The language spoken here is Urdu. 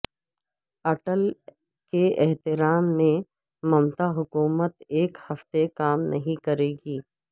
اٹل کے احترام میںممتا حکومت ایک ہفتہ کام نہیں کرے گی